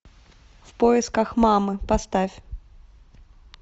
в поисках мамы поставь